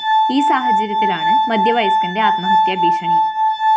ഈ സാഹചര്യത്തിലാണ് മധ്യവസയ്കന്റെ ആത്മഹത്യാ ഭീഷണി